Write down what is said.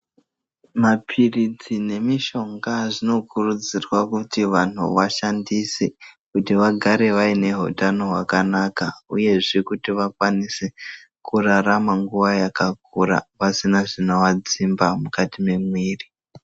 Maphiritsi nemishonga zvinokurudzirwa kuti vantu vashandise ,kuti vagare vaine hutano hwakanaka, uyezve kuti vakwanise, kurarama nguva yakakura ,pasina zvinovadzimba mukati mwemwiri .